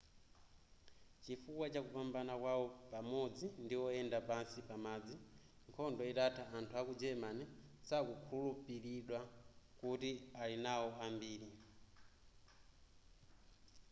chifukwa chakupambana kwawo pamodzi ndi oyenda pansi pamadzi nkhondo itatha anthu aku german sakukhulupilidwa kuti ali nawo ambiri